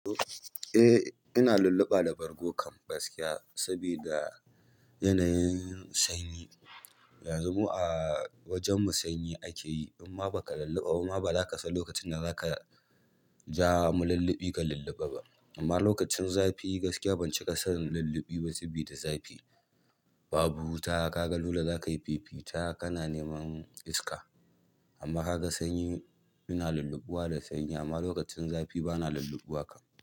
Eh ina lulluɓa da bargo kam gaskiya sabida yanayin sanyi. Yanzu mu a wajen mu sanyi ake yi in ma ba ka lulluɓa ba ma ba za ka san lokacin da za ka ja malulluɓi ka lulluɓa ba. Amma lokacin zafi gaskiya ban cika san lulluɓi ba sabida zafi. Babu wuta ka ga dole za ka yi fifita ka na neman iska. Amma ka ga sanyi. Ina lulluɓuwa da sanyi amma lokacin zafi ba na lulluɓuwa kam.